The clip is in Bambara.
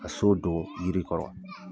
Ka so don yiri kɔrɔ.